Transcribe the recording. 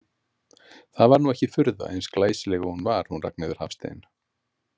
Það var nú ekki furða, eins glæsileg og hún var, hún Ragnheiður Hafstein.